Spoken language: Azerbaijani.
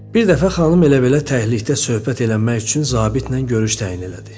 Bir dəfə xanım elə-belə təklikdə söhbət eləmək üçün zabitlə görüş təyin elədi.